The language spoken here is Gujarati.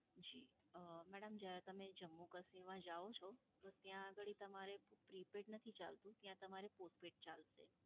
જી. અં madam જ્યારે તમે જમ્મુ કાશ્મીર માં જાઓ છો તો ત્યાં આગળી તમારે prepaid નથી ચાલતું. ત્યાં તમારે postpaid ચાલશે.